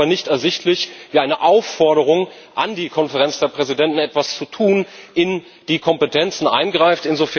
Es ist mir aber nicht ersichtlich, wie eine Aufforderung an die Konferenz der Präsidenten, etwas zu tun, in die Kompetenzen eingreift.